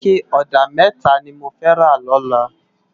Iké òdá mètá ni mó fè ló lòlá